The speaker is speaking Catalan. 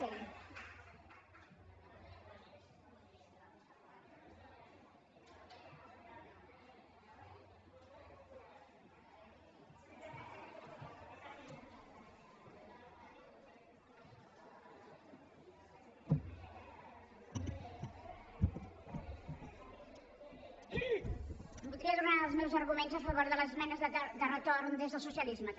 voldria donar els meus arguments a favor de les esmenes de retorn des del socialisme també